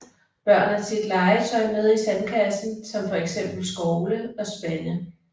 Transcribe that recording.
Børn har tit legetøj med i sandkassen som for eksempel skovle og spande